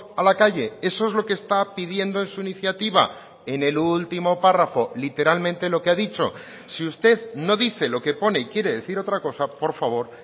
a la calle eso es lo que está pidiendo en su iniciativa en el último párrafo literalmente lo que ha dicho si usted no dice lo que pone y quiere decir otra cosa por favor